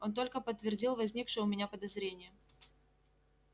он только подтвердил возникшее у меня подозрение